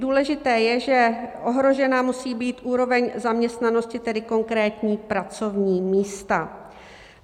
Důležité je, že ohrožena musí být úroveň zaměstnanosti, tedy konkrétní pracovní místa.